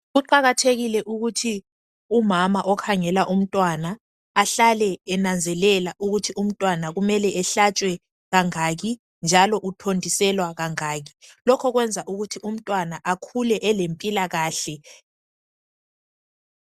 Kuqakathekile ukuthi umama okhangela umntwana ahlale enanzelela ukuthi umntwana kumele ehlatshwe kangaki njalo utotiselwa kangaki lokhu kwenza ukuthi umntwana akhule elempilakahle.